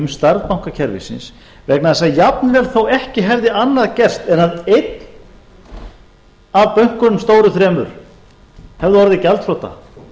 stærð bankakerfisins vegna þess að jafnvel þó að ekki hefði annað gerst en að einn af bönkunum stóru þremur hefði orðið gjaldþrota